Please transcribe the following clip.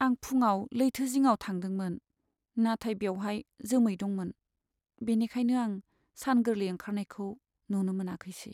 आं फुङाव लैथो जिङाव थांदोंमोन, नाथाय बेवहाय जोमै दंमोन, बेनिखायनो आं सान गोरलै ओंखारनायखौ नुनो मोनाखैसै।